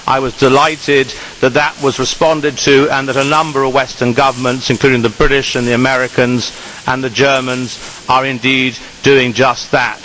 I was delighted that that was responded to and that a number of Western governments including the British, the Americans and the Germans are indeed doing just that.